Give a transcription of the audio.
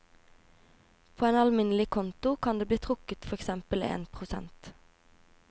På en alminnelig konto kan det bli trukket for eksempel én prosent.